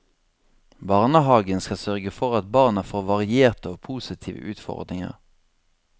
Barnehagen skal sørge for at barna får varierte og positive utfordringer.